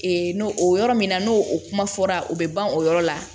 n'o o yɔrɔ min na n'o o kuma fɔra o bɛ ban o yɔrɔ la